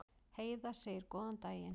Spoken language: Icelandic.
Heiða segir góðan daginn!